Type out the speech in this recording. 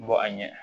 Bɔ a ɲɛ